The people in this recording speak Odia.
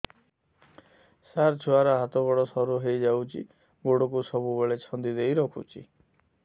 ସାର ଛୁଆର ହାତ ଗୋଡ ସରୁ ହେଇ ଯାଉଛି ଗୋଡ କୁ ସବୁବେଳେ ଛନ୍ଦିଦେଇ ରଖୁଛି